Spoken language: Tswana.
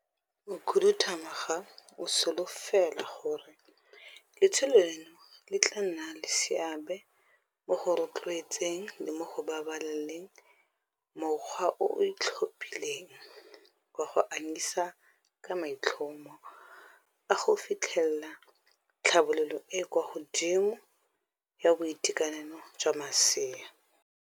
Mokhuduthamaga o solofela gore letsholo leno le tla nna le seabe mo go rotloetseng le mo go babaleleng mokgwa o o itlhophileng wa go anyisa ka maitlhomo a go fitlhelela tlhabololo e e kwa godimo ya boitekanelo jwa masea.